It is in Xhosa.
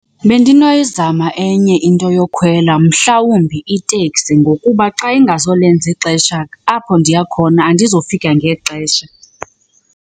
Bendinoyizama enye into yokhwela mhlawumbi iteksi ngokuba xa ingazolenza ixesha, apho ndiya khona andizofika ngexesha.